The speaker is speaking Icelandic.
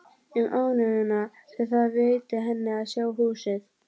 Um ánægjuna sem það veitti henni að sjá húsið.